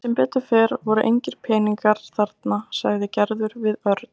Sem betur fer voru engir peningar geymdir þarna sagði Gerður við Örn.